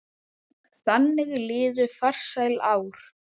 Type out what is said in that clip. Þannig liðu farsæl ár.